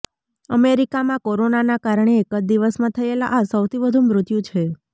અમેરિકામાં કોરોનાના કારણે એક જ દિવસમાં થયેલા આ સૌથી વધુ મૃત્યુ છે